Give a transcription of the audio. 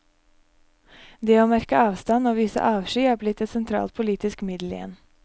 Det å markere avstand og vise avsky er blitt et sentralt politisk middel igjen.